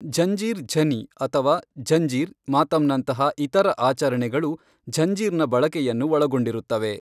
ಝಂಜೀರ್ ಝನಿ ಅಥವಾ ಝಂಜೀರ್ ಮಾತಮ್ನಂತಹ ಇತರ ಆಚರಣೆಗಳು ಝಂಜೀರ್ನ ಬಳಕೆಯನ್ನು ಒಳಗೊಂಡಿರುತ್ತವೆ.